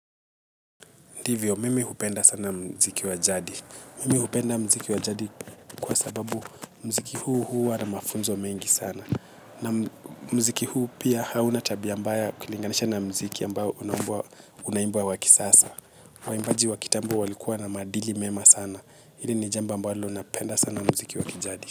Ndivyo, mimi hupenda sana mziki wa jadi. Mimi hupenda mziki wa jadi kwa sababu mziki huu huu huwa na mafunzo mengi sana. Na mziki huu pia hauna tabia mbaya ukilinganisha na mziki ambayo unaomba unambwa wa kisasa. Waimbaji wa kitambo walikuwa na maadili mema sana. Hili ni jambo ambalo napenda sana mziki wa kijadi.